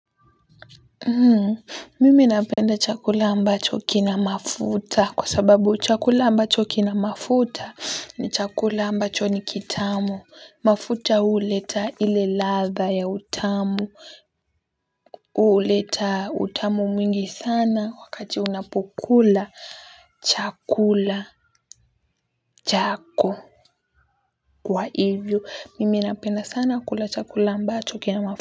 Mimi napenda chakula ambacho kina mafuta kwa sababu chakula ambacho kina mafuta ni chakula ambacho ni kitamu mafuta uleta ile ladha ya utamu huleta utamu mwingi sana wakati unapokula chakula chako kwa hivyo mimi napenda sana kula chakula ambacho kina mafuta.